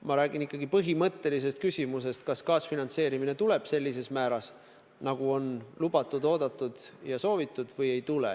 Ma räägin ikkagi põhimõttelisest küsimusest, kas kaasfinantseerimine tuleb sellises määras, nagu on lubatud, oodatud ja soovitud, või ei tule.